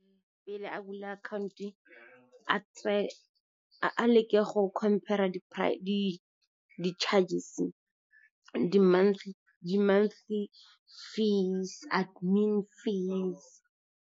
Pele a bula akhaonto, a leke go compare-a di-charges, di monthly fees, admin fees.